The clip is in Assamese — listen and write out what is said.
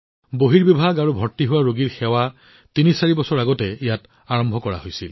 ৰোগীসকলৰ বাবে অপিডি আৰু পঞ্জীয়ন সেৱা তিনিচাৰি বছৰ আগতে ইয়াত আৰম্ভ হৈছিল